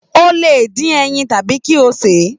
O lè dín ẹyin tàbí kí o sè é.